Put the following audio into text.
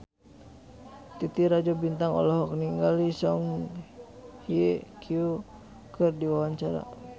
Titi Rajo Bintang olohok ningali Song Hye Kyo keur diwawancara